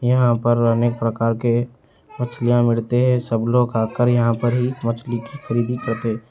यहां पर अनेक प्रकार के मछलियां मिलती हैं सब लोग यहां आकर ही मछलियां खरीदी करते--